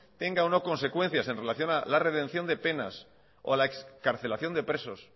tenga o no consecuencias en relación a la redención de penas o a la excarcelación de presos